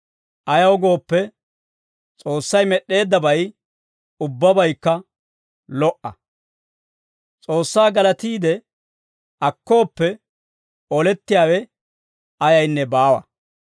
Ayaw gooppe, S'oossay med'd'eeddabay ubbabaykka lo"a. S'oossaa galatiide akkooppe, olettiyaawe ayaynne baawa.